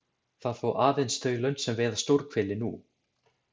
Það fá aðeins þau lönd sem veiða stórhveli nú.